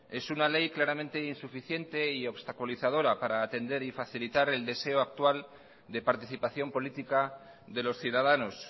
es una ley claramente insuficiente y obstaculizadora para atender y facilitar el deseo actual de participación política de los ciudadanos